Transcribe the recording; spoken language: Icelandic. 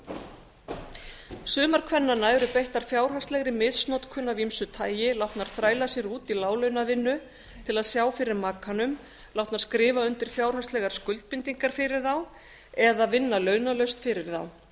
að hlýða sumar kvennanna eru beittar fjárhagslegri misnotkun af ýmsu tagi látnar þræla sér út í láglaunavinnu til að sjá fyrir makanum látnar skrifa undir fjárhagslegar skuldbindingar fyrir þá eða vinna launalaust fyrir þá þær